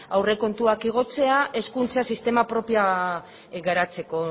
aurrekontua igotzea hezkuntza sistema propio garatzeko